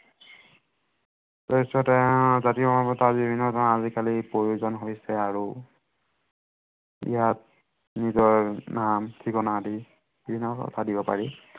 পৰিচয় পত্ৰ, জাতিগত অৰ্হতা আদি বিভিন্ন ধৰনৰ আজিকালি প্ৰয়োজন হৈছে আৰু ইয়াত নিজৰ নাম ঠিকনা আদি দিব পাৰি